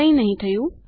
કંઈ નહી થયું